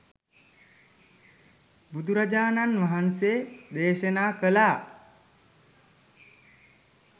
බුදුරජාණන් වහන්සේ දේශනා කළා